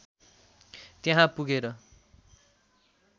त्यहाँ पुगेर